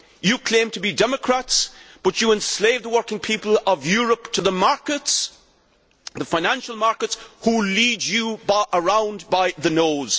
You claim to be democrats, but you enslave the working people of Europe to the markets, the financial markets, which lead you around by the nose.